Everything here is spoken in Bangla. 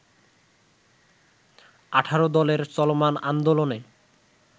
১৮ দলের চলমান আন্দোলনে